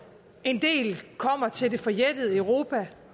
en del kommer til det forjættede europa